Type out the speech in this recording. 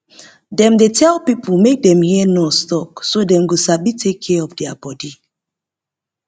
dem dey tell pipo make dem hear nurse talk so dem go sabi take care of their body